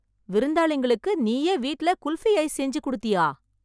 விருந்தாளிங்களுக்கு, நீயே வீட்ல குல்ஃபி ஐஸ் செஞ்சு குடுத்தியா...